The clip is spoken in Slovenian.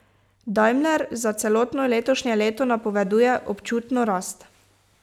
Daimler za celotno letošnje leto napoveduje občutno rast.